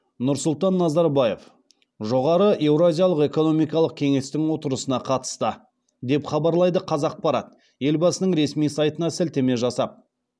нұрсұлтан назарбаев жоғары еуразиялық экономикалық кеңестің отырысына қатысты деп хабарлайды қазақпарат елбасының ресми сайтына сілтеме жасап